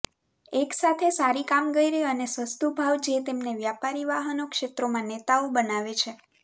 એકસાથે સારી કામગીરી અને સસ્તું ભાવ જે તેમને વ્યાપારી વાહનો ક્ષેત્રમાં નેતાઓ બનાવે છે